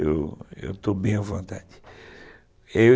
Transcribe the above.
Eu eu estou bem à vontade. Eu